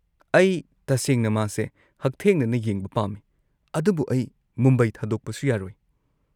ꯑꯩ ꯇꯁꯦꯡꯅ ꯃꯥꯁꯦ ꯍꯛꯊꯦꯡꯅꯅ ꯌꯦꯡꯕ ꯄꯥꯝꯃꯤ, ꯑꯗꯨꯕꯨ ꯑꯩ ꯃꯨꯝꯕꯥꯏ ꯊꯥꯗꯣꯛꯄꯁꯨ ꯌꯥꯔꯣꯏ꯫